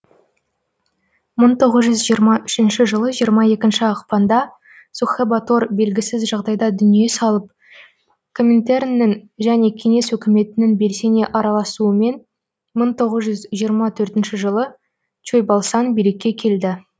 мың тоғыз жүз жиырма үшінші жылы жиырма екінші ақпанда сухэбатор белгісіз жағдайда дүние салып коминтерннің және кеңес өкіметінің белсене араласуымен мың тоғыз жүз жиырма төртінші жылы чойбалсан билікке келді